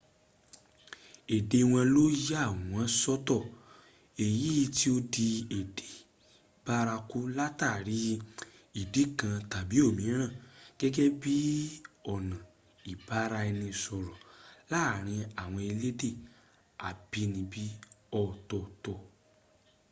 èdè wọn ló yà wọn sọ́tọ̀ èyí tí ó di èdè báraku látàrí ìdí kan tàbí òmíràn gẹ́gẹ́ bíọ̀nà ìbára-ẹni sọ̀rọ̀ láàrín àwọn elédè àbínibí ọ̀tọ̀ọ̀tọ̀